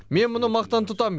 мен мұны мақтан тұтамын